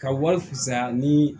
Ka wari fisaya ni